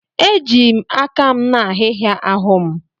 Eji m aka m na-ahị́hị̀a ahụ́ m.